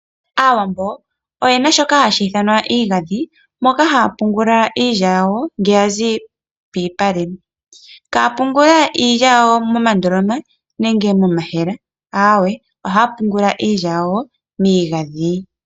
Aawambo oye na shoka hashi ithanwa iigandhi moka haya pungula iilya yawo ngele ya zi pomalupale. Ihaya pungula iilya yawo moondoloma nenge momayemele, aawe, ohaya pungula miigandhi.